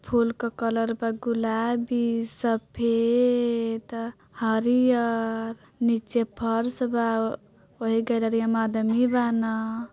फूल के कलर बा ग़ुलाबी सफेद हरीहर नीचे फर्श बा ओहि गालरिया में आदमी बान।